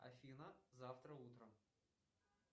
афина завтра утром